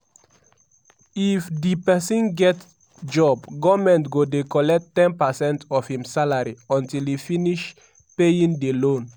if di pesin get job goment go dey collect ten percent of im salary until e finish paying di loan.